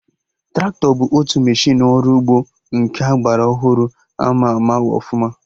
Traktọ bụ otu meshịnụ ọrụ ugbo nke agbara ọhụrụ ama ama ọfụma